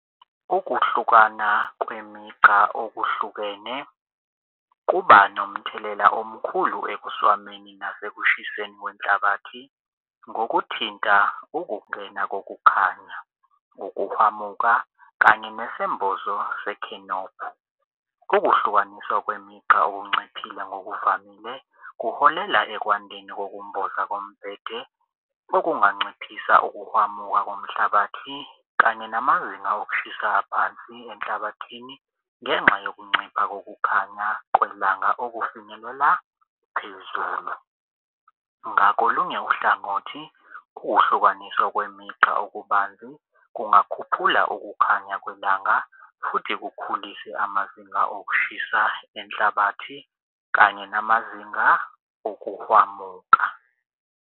Ukuhlukana kwemigqa okuhlukene kuba nomthelela omkhulu ekuswameni nasekushiseni kwenhlabathi ngokuthinta ukungena kokukhanya, ukuhwamuka kanye nesembozo sekhenophi. Ukuhlukaniswa kwemigqa okunciphile ngokuvamile kuholela ekwandeni kokumboza kombhede okunganciphisa ukuhwamuka komhlabathi kanye namazinga okushisa aphansi enhlabathini ngenxa yokuncipha kokukhanya kwelanga okufinyelela phezulu. Ngakolunye uhlangothi, ukuhlukaniswa kwemigqa okubanzi kungakhuphula ukukhanya kwelanga futhi kukhulise amazinga okushisa inhlabathi kanye namazinga okuhwamuka.